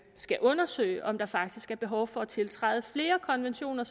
skal undersøge om der faktisk er behov for at tiltræde flere konventioner